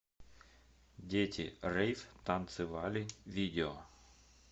дети рейв танцы вали видео